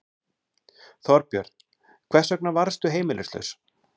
Þorbjörn: Hvers vegna varðstu heimilislaus?